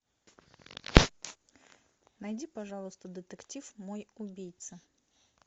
найди пожалуйста детектив мой убийца